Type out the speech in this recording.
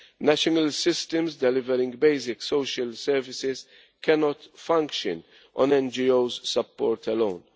National systems delivering basic social services cannot function on NGO support alone.